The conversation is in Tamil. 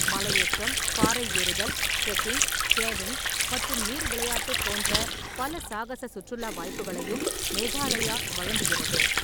மலையேற்றம், பாறை ஏறுதல், ட்ரெக்கிங், கேவிங் மற்றும் நீர் விளையாட்டு போன்ற பல சாகச சுற்றுலா வாய்ப்புகளையும் மேகாலயா வழங்குகிறது.